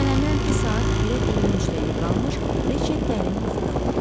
Mən əminəm ki, saat 1-ə 23 dəqiqə qalmış, reşet dərin yuxuda olub.